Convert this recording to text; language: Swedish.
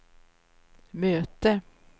möte